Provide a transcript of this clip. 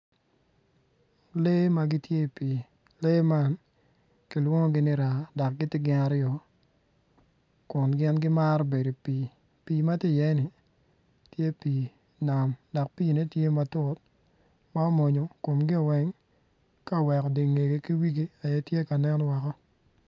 Lee ma gitye i pii dok lee man kilwongi ni raa dok gitye gin aryo pii kun gimaro bedo i pii pii ma tye iyeni tye pii nam dok piine tye matut ma omwonyo komgio weng ka oweko dingegi ki wigi bene tye ka nen woko.